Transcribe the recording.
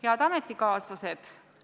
Head ametikaaslased!